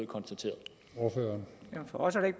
konstateret fejl